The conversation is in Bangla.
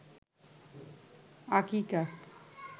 আকিকা